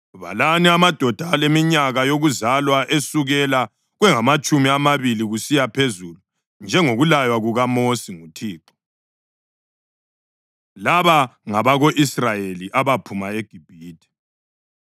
“Balani amadoda aleminyaka yokuzalwa esukela kwengamatshumi amabili kusiya phezulu, njengokulaywa kukaMosi nguThixo.” Laba ngabako-Israyeli abaphuma eGibhithe: